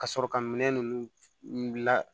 Ka sɔrɔ ka minɛn ninnu la